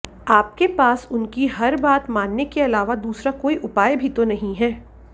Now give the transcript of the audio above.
आपके पास उनकी हर बात मानने के अलावा दूसरा कोई उपाय भी तो नहीं है